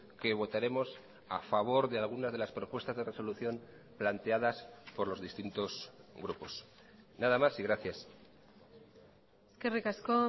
que votaremos a favor de algunas de las propuestas de resolución planteadas por los distintos grupos nada más y gracias eskerrik asko